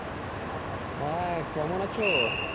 হ্যাঁ কেমন আছো?